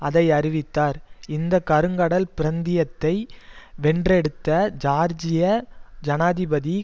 அதை அறிவித்தார் இந்த கருங்கடல் பிரந்தியத்தை வென்றெடுத்த ஜியார்ஜியா ஜனாதிபதி